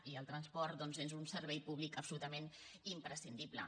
i el transport doncs és un servei públic absolutament imprescindible